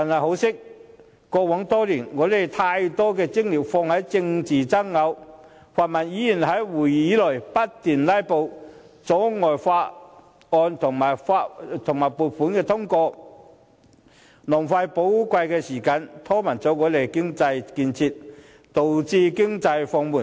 可惜，過往多年我們把太大精力放在政治爭拗上，泛民議員在會議內不斷"拉布"，阻礙法案和撥款通過，浪費寶貴時間，拖慢了我們的經濟建設，導致經濟放緩。